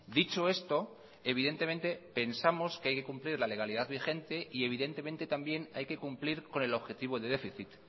dicho esto evidentemente pensamos que hay que cumplir la legalidad vigente y evidentemente también hay que cumplir con el objetivo de déficit